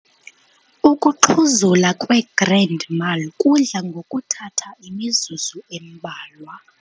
Ukuxhuzula kwe-grand mal kudla ngokuthatha imizuzu embalwa.